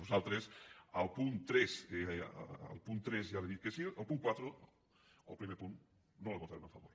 nosaltres al punt tres ja li he dit que sí al punt quatre el primer punt no l’hi votarem a favor